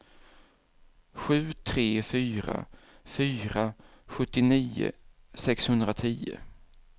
sju tre fyra fyra sjuttionio sexhundratio